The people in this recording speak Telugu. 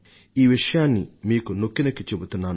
ఈ విషయాన్ని మీకు నొక్కి చెబుతున్నాను